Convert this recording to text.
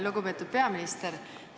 Lugupeetud peaminister!